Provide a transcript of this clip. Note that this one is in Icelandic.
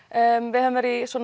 við höfum verið í